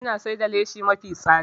Ina siyar da lashi mafi tsada